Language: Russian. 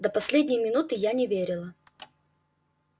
до последней минуты не верила